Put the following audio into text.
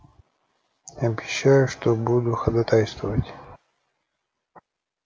обещаю что буду ходатайствовать